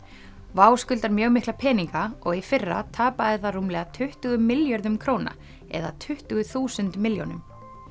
WOW skuldar mjög mikla peninga og í fyrra tapaði það rúmlega tuttugu milljörðum króna eða tuttugu þúsund milljónum